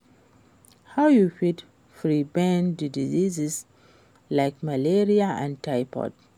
How you fit prevent di diseases like malaria and typhoid?